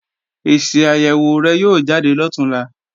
Èsì àyèwò rẹ̀ yóò jáde lọ̀túnla